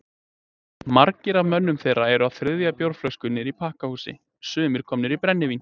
Margir af mönnum þeirra eru á þriðju bjórflösku niðri í pakkhúsi,- sumir komnir í brennivín.